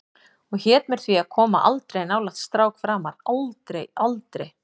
Og hét mér því að koma aldrei nálægt strák framar, aldrei, aldrei.